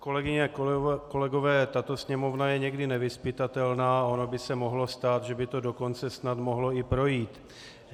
Kolegyně a kolegové, tato Sněmovna je někdy nevyzpytatelná a ono by se mohlo stát, že by to dokonce snad mohlo i projít.